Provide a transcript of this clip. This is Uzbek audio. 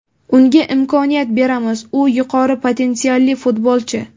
Unga imkoniyat beramiz, u yuqori potensialli futbolchi.